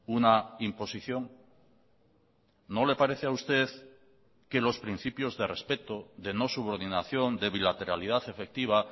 una imposición no le parece a usted que los principios de respeto de no subordinación de bilateralidad efectiva